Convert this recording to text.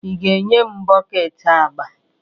Ị ga-enye m bọket agba?